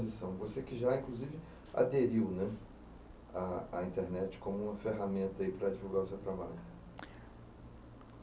,ção. Você que já, inclusive, aderiu à à internet como uma ferramenta para divulgar o seu trabalho.